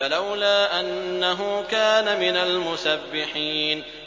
فَلَوْلَا أَنَّهُ كَانَ مِنَ الْمُسَبِّحِينَ